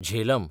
Jhelum